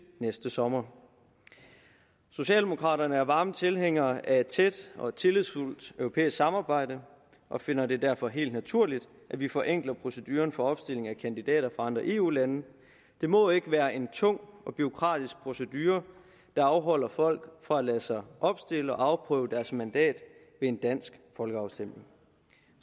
næste sommer socialdemokraterne er varme tilhængere af et tæt og tillidsfuldt europæisk samarbejde og finder det derfor helt naturligt at vi forenkler proceduren for opstilling af kandidater fra andre eu lande det må ikke være en tung og bureaukratisk procedure der afholder folk fra at lade sig opstille og afprøve deres mandat ved en dansk folkeafstemning